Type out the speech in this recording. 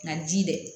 Nka ji dɛ